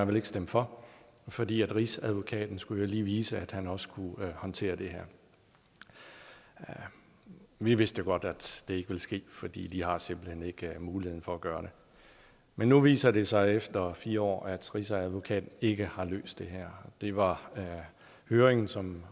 ville stemme for fordi rigsadvokaten lige skulle vise at han også kunne håndtere det her vi vidste godt at det ikke ville ske for de har simpelt hen ikke mulighederne for at gøre det men nu viser det sig efter fire år at rigsadvokaten ikke har løst det her det var høringen som